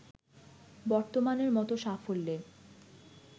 বর্তমানের মতো সাফল্যে